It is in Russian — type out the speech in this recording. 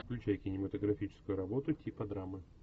включай кинематографическую работу типа драмы